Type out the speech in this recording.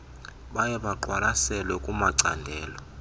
baye baqwalaselwe kumacandelo